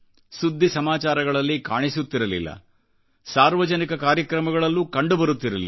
ಸುದ್ದಿ ಸಮಾಚಾರಗಳಲ್ಲಿ ಕಾಣಿಸುತ್ತಿರಲಿಲ್ಲ ಹಾಗೂಸಾರ್ವಜನಿಕ ಕಾರ್ಯಕ್ರಮಗಳಲ್ಲೂ ಕಂಡುಬರುತ್ತಿರಲಿಲ್ಲ